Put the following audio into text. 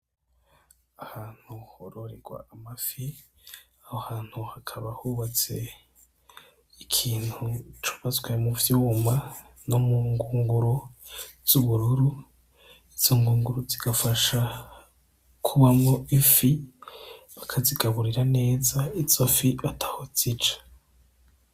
Ahantu hororirwa amafi a hantu hakaba hubatse ikintu cobazwe mu vyuma no mu ngunguro z'ubururu izo ngunguro zigafasha kubamwo ifi bakazigaburira neza itsofi ataho otz ica.